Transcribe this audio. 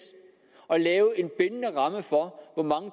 at lave en bindende ramme for hvor mange